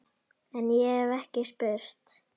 En- ég hef ekki spurt.